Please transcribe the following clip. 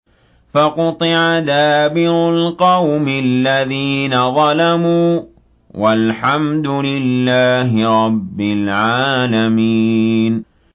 فَقُطِعَ دَابِرُ الْقَوْمِ الَّذِينَ ظَلَمُوا ۚ وَالْحَمْدُ لِلَّهِ رَبِّ الْعَالَمِينَ